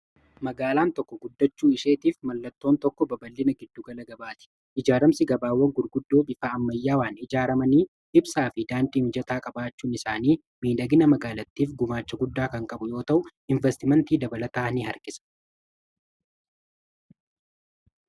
magaalaan tokko guddachuu isheetiif mallattoon tokko babal'ina giddu gala gabaatifi ijaaramsi gabaawwan gurguddoo bifa ammayyaawaan ijaaramanii ibsaa fi daandii mijataa qabaachuun isaanii miidhagina magaalatiif gumaacha guddaa kan qabu yoo ta'u investimentii dabalataa in harkisa.